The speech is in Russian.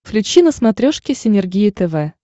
включи на смотрешке синергия тв